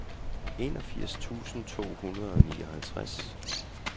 enogfirs tusind to hundrede og nioghalvtreds